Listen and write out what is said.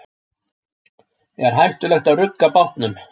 Er hættulegt að rugga bátnum?